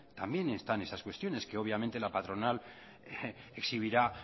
también están esas cuestiones que obviamente la patronal exhibirá